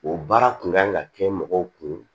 O baara kun kan ka kɛ mɔgɔw kun